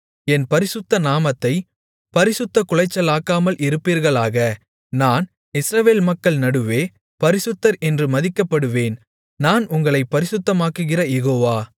என் பரிசுத்த நாமத்தைப் பரிசுத்தக்குலைச்சலாக்காமல் இருப்பீர்களாக நான் இஸ்ரவேல் மக்கள் நடுவே பரிசுத்தர் என்று மதிக்கப்படுவேன் நான் உங்களைப் பரிசுத்தமாக்குகிற யெகோவா